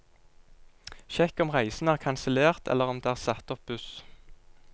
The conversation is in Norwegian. Sjekk om reisen er kansellert eller om det er satt opp buss.